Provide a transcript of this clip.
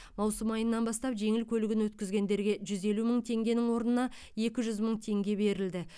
маусым айынан бастап жеңіл көлігін өткізгендерге жүз елу мың теңгенің орнына екі жүз мың теңге берілді